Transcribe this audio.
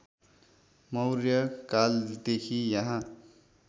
मौर्य कालदेखि यहाँ